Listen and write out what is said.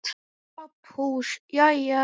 SOPHUS: Jæja!